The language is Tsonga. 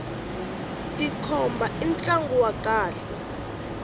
tikhomba i ntlangu wa kahle